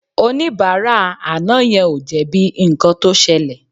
Oníbàárà àná yẹn ò jẹ̀bi nǹkan tó ṣẹlẹ̀